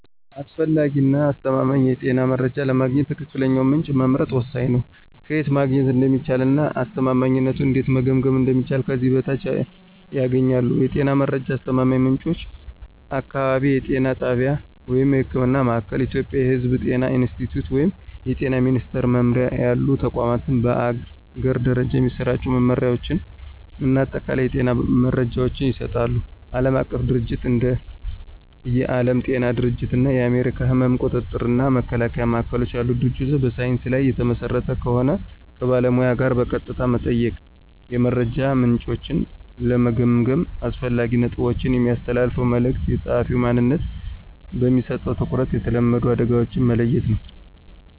አስፈላጊ እና አስተማማኝ የጤና መረጃ ለማግኘት ትክክለኛውን ምንጭ መምረጥ ወሳኝ ነው። ከየት ማግኘት እንደሚቻል እና አስተማማኝነቱን እንዴት መገምገም እንደሚችሉ ከዚህ በታች ያገኛሉ። የጤና መረጃ አስተማማኝ ምንጮች · አካባቢያዊ የጤና ጣቢያ (ህክምና ማእከል። ኢትዮጵያ የሕዝብ ጤና ኢንስቲትዩት ወይም የጤና ሚኒስትር መምሪያ ያሉ ተቋማት በአገር ደረጃ የሚሰራጩ መመሪያዎችን እና አጠቃላይ የጤና መረጃዎችን ይሰጣሉ። ዓለም አቀፍ ድርጅቶች እንደ የዓለም ጤና ድርጅት እና የአሜሪካ የሕመም ቁጥጥር እና መከላከያ ማዕከሎች ያሉ ድርጅቶች በሳይንስ ላይ የተመሰረተ ከሆን። ከባለሙያ ጋር በቀጥታ መጠየቅ። የመረጃ ምንጮችን ለመገምገም አስፈላጊ ነጥቦች። የሚያስተላልፈው መልዕክት፣ የጸሐፊው ማንነት፣ በሚሰጠው ትኩረት፣ የተለመዱ አደጋዎችን መለየት ነው።